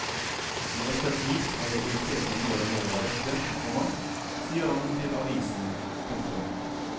I ettertid har jeg irritert meg mer og mer over dette, komma sier han til avisen. punktum